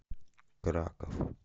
краков